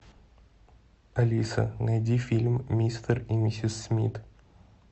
алиса найди фильм мистер и миссис смит